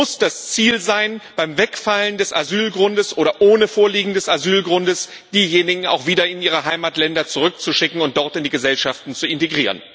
Es muss das Ziel sein, beim Wegfallen des Asylgrundes oder ohne Vorliegen eines Asylgrundes diejenigen auch wieder in ihre Heimatländer zurückzuschicken und dort in die Gesellschaften zu integrieren.